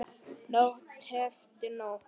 Nótt eftir nótt.